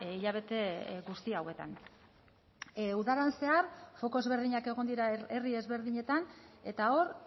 hilabete guzti hauetan udaran zehar foko ezberdinak egon dira herri ezberdinetan eta hor